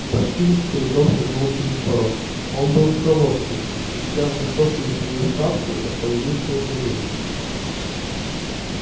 башкирец с трудом шагнул через порог он был в колодке и сняв высокую свою шапку остановился у дверей